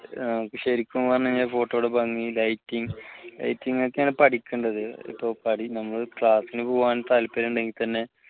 ശരിക്കും പറഞ്ഞാൽ photo യെടുപ്പ് lighting lighting ഒക്കെയാണ് പഠിക്കേണ്ടത് ഇപ്പോൾ നമ്മൾ class നു പോകാൻ താല്പര്യമുണ്ടെങ്കിൽ തന്നെ